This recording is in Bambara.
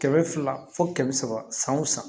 Kɛmɛ fila fo kɛmɛ saba san wo san